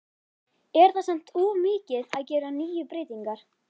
Er það samt of mikið að gera níu breytingar?